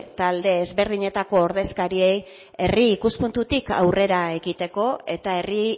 talde ezberdinetako ordezkariei herri ikuspuntutik aurrera ekiteko eta herri